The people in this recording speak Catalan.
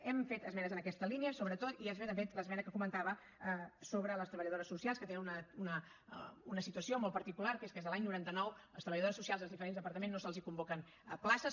hem fet esmenes en aquesta línia sobretot i després hem fet l’esmena que comentava sobre les treballadores socials que tenen una situació molt particular que és que des de l’any noranta nou a les treballadores socials dels diferents departaments no se’ls convoquen places